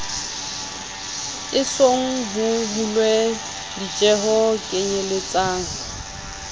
esong ho hulwe ditjeho kenyeletsa